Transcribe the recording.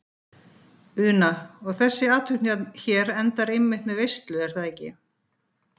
Una: Og þessi athöfn hér endar einmitt með veislu er það ekki?